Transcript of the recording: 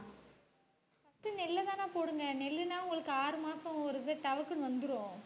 first நெல்லுதானே போடுங்க நெல்லுன்னா உங்களுக்கு ஆறு மாசம் ஒரு இது தபக்குன்னு வந்துரும்.